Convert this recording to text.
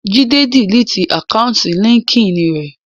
Jídé diliti àkáùntì líńki-inì rẹ̀